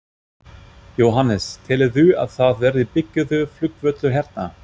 Jóhannes: Telurðu að það verði byggður flugvöllur hérna?